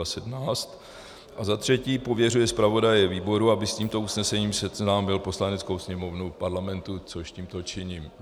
A za třetí pověřuje zpravodaje výboru, aby s tímto usnesením seznámil Poslaneckou sněmovnu Parlamentu, což tímto činím.